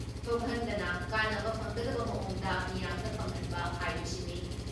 ꯊꯣꯛꯍꯟꯗꯅ ꯀꯥꯟꯅꯕ ꯐꯪꯒꯗꯕ ꯃꯑꯣꯡꯗ ꯃꯤꯌꯥꯝꯗ ꯐꯪꯍꯟꯕ ꯍꯥꯏꯕꯁꯤꯅꯤ ꯫